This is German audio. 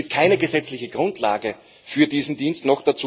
Es gibt keine gesetzliche Grundlage für diesen Dienst.